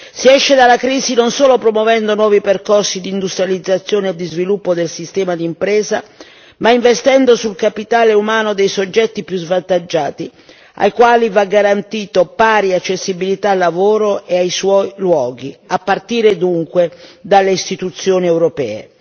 Si esce dalla crisi non solo promuovendo nuovi percorsi di industrializzazione e di sviluppo del sistema di impresa, ma investendo sul capitale umano dei soggetti più svantaggiati, ai quali va garantita pari accessibilità al lavoro e ai suoi luoghi, a partire dunque dalle istituzioni europee.